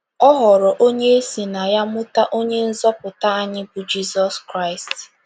Ọ ghọrọ onye e si na ya mụta Onye Nzọpụta anyị, bụ́ Jizọs Kraịst.